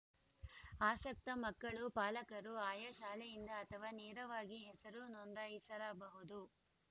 ಆಸಕ್ತ ಮಕ್ಕಳು ಪಾಲಕರು ಆಯಾ ಶಾಲೆಯಿಂದ ಅಥವಾ ನೇರವಾಗಿ ಹೆಸರು ನೋಂದಾಯಿಸರ ಬಹುದು